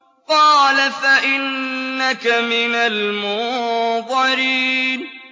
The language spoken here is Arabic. قَالَ فَإِنَّكَ مِنَ الْمُنظَرِينَ